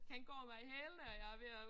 Han går mig i hælene og jeg ved at